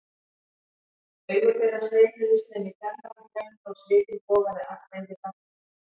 Augu þeirra sveimuðu sem í fjarlægum draumi og svitinn bogaði af þeim við gagnaugun.